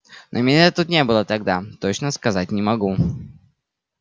но меня тут не было тогда точно сказать не могу